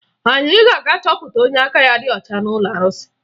Anyị ga-aga chọpụta onye aka ya dị ọcha n'ụlọ arụsị